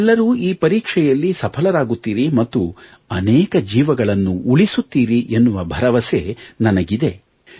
ನೀವೆಲ್ಲರೂ ಈ ಪರೀಕ್ಷೆಯಲ್ಲಿ ಸಫಲರಾಗುತ್ತೀರಿ ಮತ್ತು ಅನೇಕ ಜೀವಗಳನ್ನು ಉಳಿಸುತ್ತೀರಿ ಎನ್ನುವ ಭರವಸೆ ನನಗಿದೆ